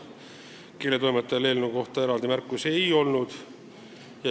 Keeletoimetajal eelnõu kohta eraldi märkusi ei olnud.